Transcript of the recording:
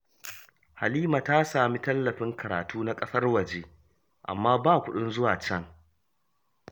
Halima ta samu tallafin karatu na ƙasar waje, amma ba kuɗin zuwa can